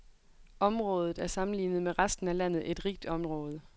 Området er sammenlignet med resten af landet et rigt område.